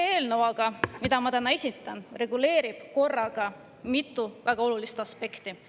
See eelnõu, mida ma täna esitan, reguleerib aga korraga mitu väga olulist aspekti.